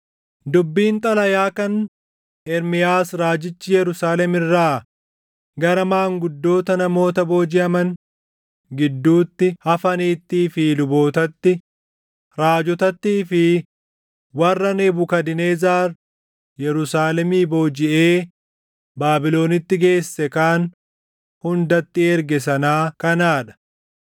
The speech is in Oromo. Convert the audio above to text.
Dubbiin xalayaa kan Ermiyaas raajichi Yerusaalem irraa gara maanguddoota namoota boojiʼaman gidduutti hafaniittii fi lubootatti, raajotattii fi warra Nebukadnezar Yerusaalemii boojiʼee Baabilonitti geesse kaan hundatti erge sanaa kanaa dha.